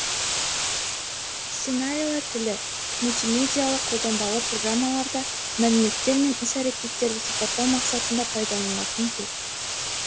сценарийлер тілі мультимедиалық қолданбалы программаларда мәліметтер мен іс әрекеттерді сипаттау мақсатында пайдаланылатын тіл